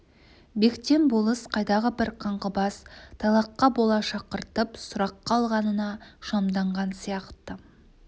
бектен болыс қайдағы бір қаңғыбас тайлаққа бола шақыртып сұраққа алғанына шамданған сияқты